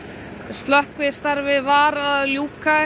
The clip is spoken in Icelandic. slökkvistarfi var að ljúka